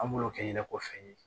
An b'o kɛ ɲɛnɛ ko fɛn ye